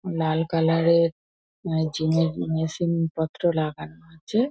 লাল colour এর gym এর machine পত্র লাগানো আছে।